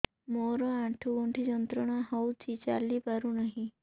ମୋରୋ ଆଣ୍ଠୁଗଣ୍ଠି ଯନ୍ତ୍ରଣା ହଉଚି ଚାଲିପାରୁନାହିଁ